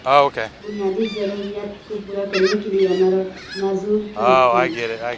بنیادی ضروریات کو پورا کرنے کے لئے عمر اور معذور کی مدد کرنا